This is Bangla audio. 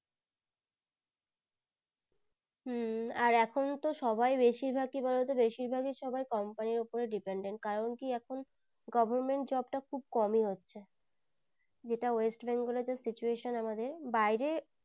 হম আর এখুন তো সবাই বেশির ভাগ কি বলো তো বেশির ভাগী company এর ওপর dependent কারণ কি এখুন government job তা খুব কমি হচ্ছে যেটা west bengal এ যা situation আমাদের বাইরে